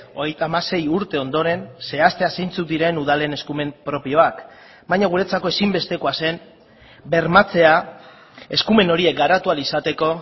hogeita hamasei urte ondoren zehaztea zeintzuk diren udalen eskumen propioak baina guretzako ezinbestekoa zen bermatzea eskumen horiek garatu ahal izateko